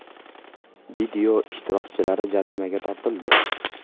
Video ishtirokchilari jarimaga tortildi.